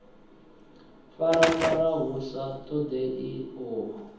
farafara hu sa ṱoḓei uho